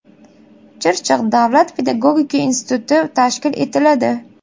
Chirchiq davlat pedagogika instituti tashkil etiladi.